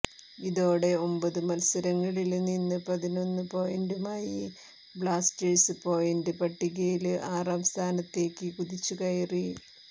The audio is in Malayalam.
ഇതോടെ ഒമ്പത് മത്സരങ്ങളില് നിന്ന് പതിനൊന്ന് പോയിന്റുമായി ബ്ലാസ്റ്റേഴ്സ് പോയിന്റ് പട്ടികയില് ആറാം സ്ഥാനത്തേക്ക് കുതിച്ചുകയറി